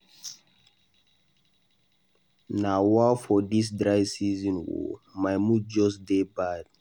Nawa for dis dry season oo. My mood just dey bad.